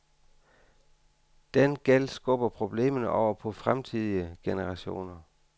Den gæld skubber problemer over på fremtidige generationer.